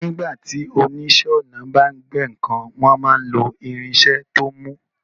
Nígbà tí oníṣẹ́ ọnà bá ń gbẹ́ nǹkan, wọ́n máa ń lo irinṣẹ́ tó mú